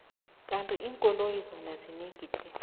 kandi inkoloyi zona zinengi tle